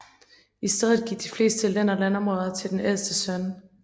I stedet gik de fleste len og landområder til den ældste søn